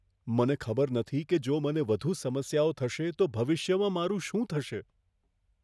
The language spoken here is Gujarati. મને ખબર નથી કે જો મને વધુ સમસ્યાઓ થશે તો ભવિષ્યમાં મારું શું થશે.